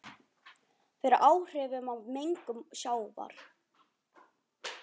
fyrir áhrifum af mengun sjávar.